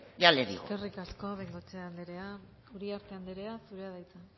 ya le digo eskerrik asko bengoechea andrea uriarte anderea zurea da hitza